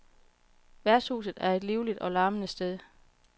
Værtshuset er et livligt og larmende sted.